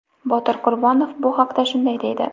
Botir Qurbonov bu haqda shunday deydi?.